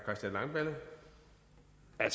at